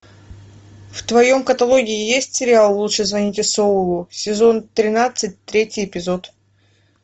в твоем каталоге есть сериал лучше звоните солу сезон тринадцать третий эпизод